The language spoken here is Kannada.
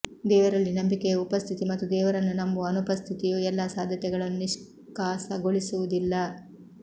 ದೇವರಲ್ಲಿ ನಂಬಿಕೆಯ ಉಪಸ್ಥಿತಿ ಮತ್ತು ದೇವರನ್ನು ನಂಬುವ ಅನುಪಸ್ಥಿತಿಯು ಎಲ್ಲಾ ಸಾಧ್ಯತೆಗಳನ್ನು ನಿಷ್ಕಾಸಗೊಳಿಸುವುದಿಲ್ಲ